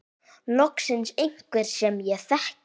Loksins einhver sem ég þekki.